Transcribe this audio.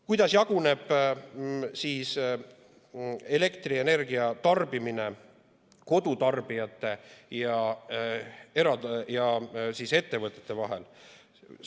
Kuidas jaguneb elektrienergiatarbimine kodutarbijate ja ettevõtete vahel?